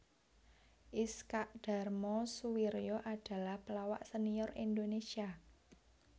Iskak Darmo Suwiryo adalah pelawak senior indonesia